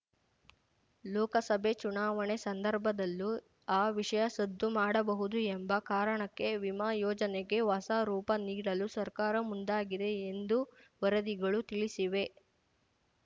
ಲೋಕಸಭೆ ಚುನಾವಣೆ ಸಂದರ್ಭದಲ್ಲೂ ಆ ವಿಷಯ ಸದ್ದು ಮಾಡಬಹುದು ಎಂಬ ಕಾರಣಕ್ಕೆ ವಿಮಾ ಯೋಜನೆಗೆ ಹೊಸ ರೂಪ ನೀಡಲು ಸರ್ಕಾರ ಮುಂದಾಗಿದೆ ಎಂದು ವರದಿಗಳು ತಿಳಿಸಿವೆ